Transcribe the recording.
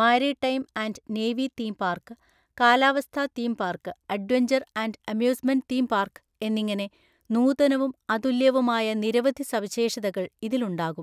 Maritime and navy theme park, കാലാവസ്ഥാ theme park, adventure and amusement theme park എന്നിങ്ങനെ നൂതനവും അതുല്യവുമായ നിരവധി സവിശേഷതകൾ ഇതിലുണ്ടാകും.